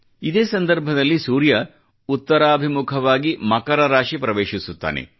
ಇದೇ ಸಂದರ್ಭದಲ್ಲಿ ಸೂರ್ಯ ಉತ್ತರಾಭಿಮುಖವಾಗಿ ಮಕರ ರಾಶಿ ಪ್ರವೇಶಿಸುತ್ತಾನೆ